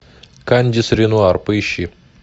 кандис ренуар поищи